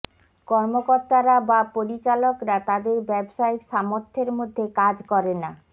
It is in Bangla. কর্মকর্তারা বা পরিচালকরা তাদের ব্যবসায়িক সামর্থ্যের মধ্যে কাজ করে না